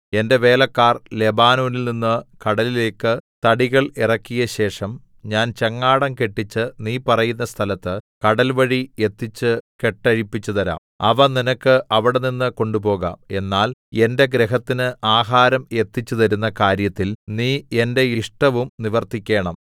എന്റെ വേലക്കാർ ലെബാനോനിൽനിന്ന് കടലിലേക്ക് തടികൾ ഇറക്കിയശേഷം ഞാൻ ചങ്ങാടം കെട്ടിച്ച് നീ പറയുന്ന സ്ഥലത്ത് കടൽവഴി എത്തിച്ച് കെട്ടഴിപ്പിച്ചുതരാം അവ നിനക്ക് അവിടെനിന്ന് കൊണ്ടുപോകാം എന്നാൽ എന്റെ ഗൃഹത്തിന് ആഹാരം എത്തിച്ചുതരുന്ന കാര്യത്തിൽ നീ എന്റെ ഇഷ്ടവും നിവർത്തിക്കേണം